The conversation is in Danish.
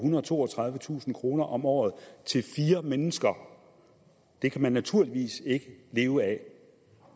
og toogtredivetusind kroner om året til fire mennesker det kan man naturligvis ikke leve af